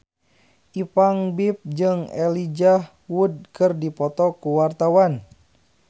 Ipank BIP jeung Elijah Wood keur dipoto ku wartawan